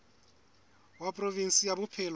wa provinse ya bophelo bo